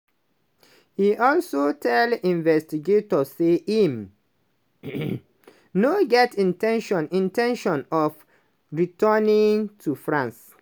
e also tell investigators say im no get in ten tion in ten tion of returning to france.